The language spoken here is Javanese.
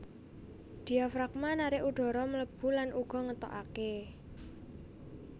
Diafragma narik udhara mlebu lan uga ngetokaké